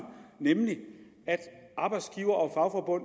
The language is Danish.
nemlig at arbejdsgivere og